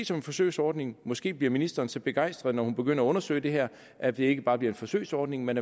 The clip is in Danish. som en forsøgsordning måske bliver ministeren så begejstret når hun begynder at undersøge det her at det ikke bare bliver en forsøgsordning men